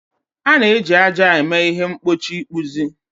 A na-eji ájá eme ihe mgbochi ịkpụzi